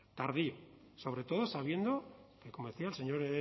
tardío sobretodo sabiendo como decía el señor